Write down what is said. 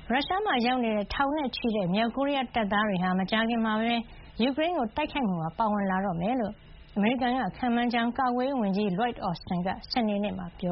ရုရှားမှာရောက်နေတဲ့ ထောင်နဲ့ချီတဲ့ မြောက်ကိုရီးယား တပ်သားတွေဟာ မကြာခင်မှာပဲ ယူကရိန်းကို တိုက်ခိုက်မှုမှာ ပါဝင်လာတော့မယ်လို့ အမေရိကန်က ခန့်မှန်းထားကြောင်း ကာကွယ်ရေးဝန်ကြီး Lloyd Austin က စနေနေ့မှာ ပြ